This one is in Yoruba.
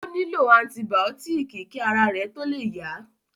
Ó nílò antibàọ́tìkì kí ara rẹ̀ tó le yá